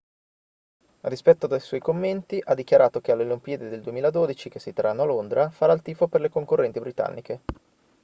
a dispetto dei suoi commenti ha dichiarato che alle olimpiadi del 2012 che si terranno a londra farà il tifo per le concorrenti britanniche